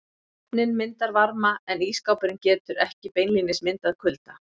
Ofninn myndar varma en ísskápurinn getur ekki beinlínis myndað kulda.